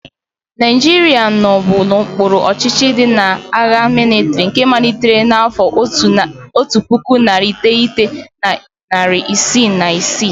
Naijiria nọbụ n'okpuru ọchịchị ndị agha mịlịtrị nke malitere n'afọ otu puku, narị iteghete na narị isii na isii.